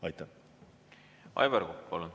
Aivar Kokk, palun!